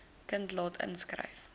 kind laat inskryf